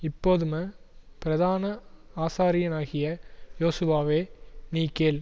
இப்போதும் பிரதான ஆசாரியனாகிய யோசுவாவே நீ கேள்